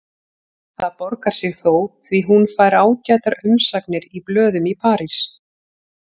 Það borgar sig þó því hún fær ágætar umsagnir í blöðum í París.